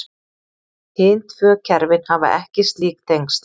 Hin tvö kerfin hafa ekki slík tengsl.